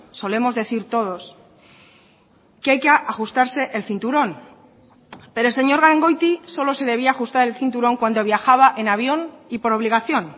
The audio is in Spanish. solemos decir todos que hay que ajustarse el cinturón pero señor gangoiti solo se debía ajustar el cinturón cuando viajaba en avión y por obligación